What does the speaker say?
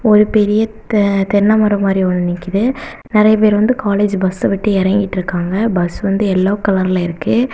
ஒரு பெரிய தென்னை மரம் மாரி ஒன்னு நிக்குது நிறைய பேர் வந்து காலேஜ் பஸ்ஸ விட்டு இறங்கிட்டுருக்காங்க பஸ் வந்து எல்லோ கலர்ல இருக்கு.